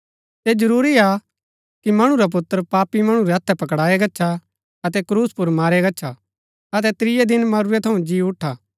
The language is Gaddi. ऐह जरूरी हा कि मणु रा पुत्र पापी मणु रै हथै पकड़ाया गच्छा अतै क्रूस पर मारेआ गच्छा अतै त्रियै दिन मरूरै थऊँ जी उठा